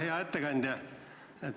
Hea ettekandja!